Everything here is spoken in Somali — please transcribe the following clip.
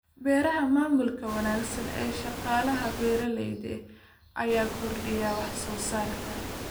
Beeraha Maamulka wanaagsan ee shaqaalaha beeralayda ayaa kordhiya wax soo saarka.